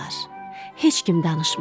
Heç kim danışmırdı.